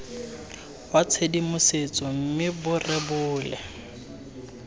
wa tshedimosetso mme bo rebole